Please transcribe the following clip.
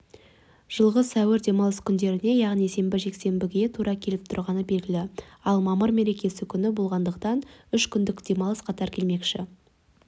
жылғы сәуір демалыс күндеріне яғни сенбі жексенбіге тура келіп тұрғаны белгілі ал мамыр мереке күні болғандықтан үш күндік демалыс қатар келмекші